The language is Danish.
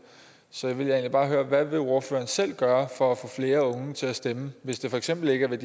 så vil jeg egentlig bare høre hvad vil ordføreren selv gøre for at få flere unge til at stemme hvis det for eksempel ikke er ved